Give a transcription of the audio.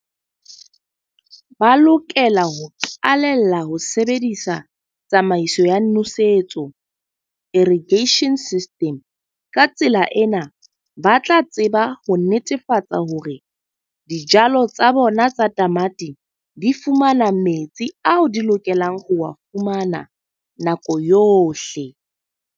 Ba lokela ho qalella ho sebedisa tsamaiso ya nosetso, irrigation system. Ka tsela ena, ba tla a tseba ho netefatsa hore dijalo tsa bona tsa tamati di fumana metsi ao di lokelang ho wa fumana nako yohle.